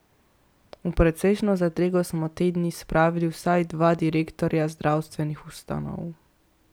V precejšno zadrego smo te dni spravili vsaj dva direktorja zdravstvenih ustanov.